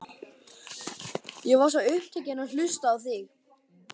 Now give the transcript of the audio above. Ég var svo upptekinn af að hlusta á þig.